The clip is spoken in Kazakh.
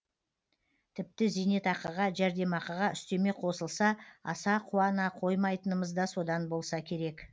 тіпті зейнетақыға жәрдемақыға үстеме қосылса аса қуана қоймайтынымыз да содан болса керек